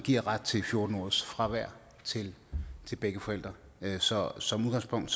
giver ret til fjorten ugers fravær til begge forældre så som udgangspunkt